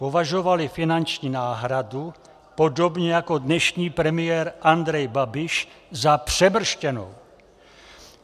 Považovali finanční náhradu, podobně jako dnešní premiér Andrej Babiš, za přemrštěnou.